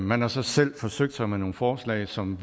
man har så selv forsøgt sig med nogle forslag som